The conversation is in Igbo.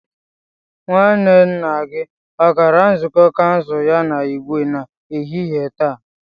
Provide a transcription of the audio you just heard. Nwanne nna gi o gara nzukọ kansụl ya na Igwe n'ehihie taa?